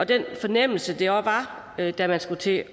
den fornemmelse det var da man skulle til